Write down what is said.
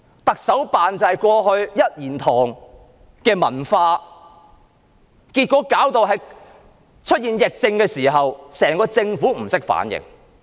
特首辦的一言堂文化導致出現疫症時，整個政府不懂得反應。